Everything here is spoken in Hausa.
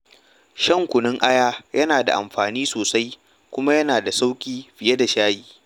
Shan kunun aya yana da amfani sosai kuma yana da sauƙi fiye da shayi.